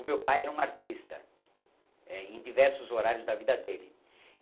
O meu pai era um artista eh, em diversos horários da vida dele.